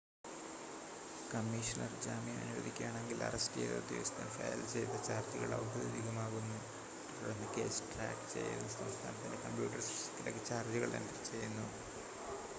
commissioner ജാമ്യം അനുവദിക്കുകയാണെങ്കിൽ arrest ചെയ്ത ഉദ്യോഗസ്ഥൻ ഫയൽ ചെയ്ത ചാർജുകൾ ഔദ്യോഗികമാക്കുന്നു തുടർന്ന് കേസ് ട്രാക്ക് ചെയ്യുന്ന സംസ്ഥാനത്തിൻ്റെ കമ്പ്യൂട്ടർ സിസ്റ്റത്തിലേക്ക് ചാർജുകൾ എൻ്റർ ചെയ്യുന്നു